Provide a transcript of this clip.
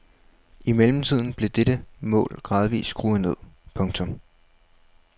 I mellemtiden blev dette mål gradvist skruet ned. punktum